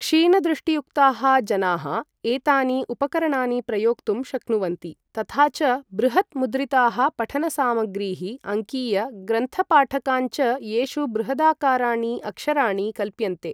क्षीणदृष्टियुक्ताः जनाः एतानि उपकरणानि प्रयोक्तुं शक्नुवन्ति तथा च बृहत् मुद्रिताः पठन सामग्रीः, अङ्कीय ग्रन्थ पाठकान् च, येषु बृहदाकाराणि अक्षराणि कल्प्यन्ते।